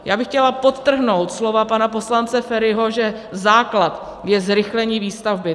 Já bych chtěla podtrhnout slova pana poslance Feriho, že základ je zrychlení výstavby.